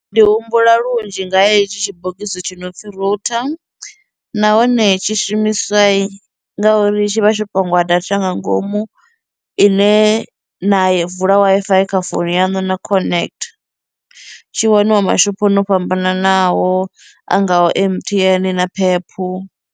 Ndi humbula lunzhi nga ha hetshi tshibogisi tshi nopfhi router nahone tshi shumiswa ngauri tshi vha tsho pangiwa data nga ngomu ine na i vula W_I_F_I kha founu yanu na connect. Tshi waniwa mashophoni o fhambananaho a ngaho M_T_N na P_E_P.